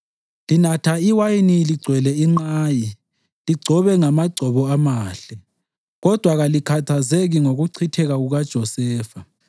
Linatha iwayini ligcwele inqayi, ligcobe ngamagcobo amahle, kodwa kalikhathazeki ngokuchitheka kukaJosefa.